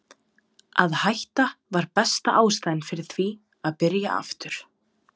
Að hætta var besta ástæðan fyrir því að byrja aftur.